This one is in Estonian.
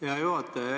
Hea juhataja!